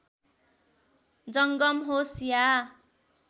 जङ्गम होस् या